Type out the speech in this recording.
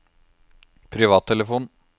privattelefon